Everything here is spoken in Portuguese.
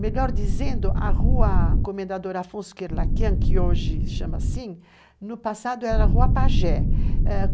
Melhor dizendo, a rua Comendador Afonso Kerlakian, que hoje se chama assim, no passado era a Rua Pajé.